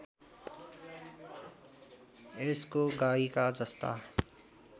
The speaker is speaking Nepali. यसको गाईका जस्ता